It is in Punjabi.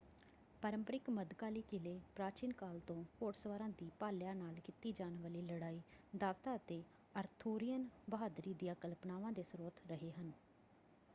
ਪ੍ਰੰਪਰਿਕ ਮੱਧਕਾਲੀ ਕਿਲੇ ਪ੍ਰਾਚੀਨ ਕਾਲ ਤੋਂ ਘੋੜਸਵਾਰਾਂ ਦੀ ਭਾਲਿਆਂ ਨਾਲ ਕੀਤੀ ਜਾਣ ਵਾਲੀ ਲੜਾਈ ਦਾਅਵਤਾਂ ਅਤੇ ਅਰਥੂਰੀਅਨ ਬਹਾਦਰੀ ਦੀਆਂ ਕਲਪਨਾਵਾਂ ਦੇ ਸਰੋਤ ਰਹੇ ਹਨ।